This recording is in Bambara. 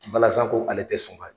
Balazan ko ale tɛ sɔn ka